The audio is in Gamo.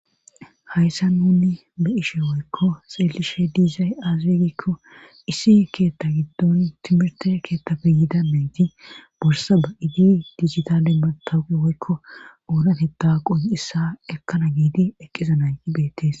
Hayssa nuni ba ishe woykko xeelishe diizay aazir gikko issi keetta giddon timirte keettafe yiida meeti borsa ba7idi dizita demma tawuqi woykko oonateta qon7isa ekkana giidi eqqiza nayi beettees.